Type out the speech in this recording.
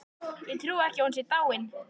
Ég trúi ekki að hún sé dáin.